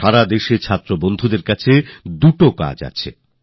সারা দেশে ছাত্রছাত্রী বন্ধুদের সামনে দুটো সুযোগ থাকবে